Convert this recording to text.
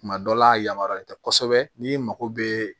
Tuma dɔ la yamaruyalen tɛ kosɛbɛ n'i mago bɛ